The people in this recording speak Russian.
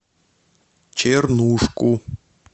чернушку